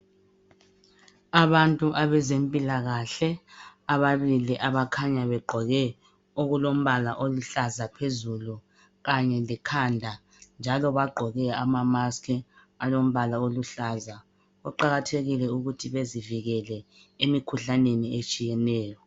Abantu abezempilakahle ababili abakhanya begqoke okulombala oluhlaza phezulu kanye lekhanda njalo bagqoke amamasikhi alombala oluhlaza . kuqakathekile ukuthi bezivikele emikhuhlaneni etshiyeneyo.